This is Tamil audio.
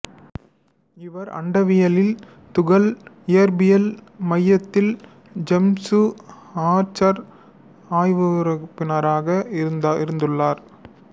இவர் அண்டவியல் துகள் இயற்பியல் மையத்தில் ஜேம்சு ஆர்த்தர் அய்வுறுப்பினராக இருந்துள்ளார்